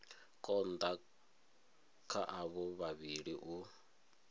konda kha avho vhavhili u